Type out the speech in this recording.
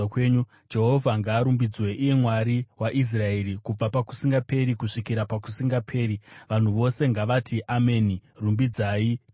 Jehovha ngaarumbidzwe, iye Mwari waIsraeri, kubva pakusingaperi kusvikira pakusingaperi. Vanhu vose ngavati, “Ameni!” Rumbidzai Jehovha.